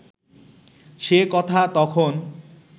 সে কথা তখন